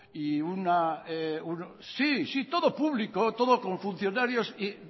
y una sí sí todo público todo con funcionarios y